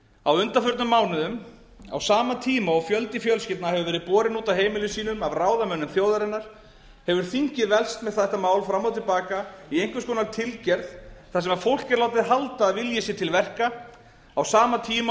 á undanförnum mánuðum á sama tíma og fjöldi fjölskyldna hefur verið borinn út af heimilum sínum af ráðamönnum þjóðarinnar hefur þingið velkst með þetta mál fram og til baka í einhvers konar tilgerð þar sem fólk er látið halda að vilji sé til verka á sama tíma